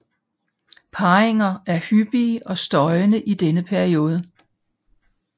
Parringer er hyppige og støjende i denne periode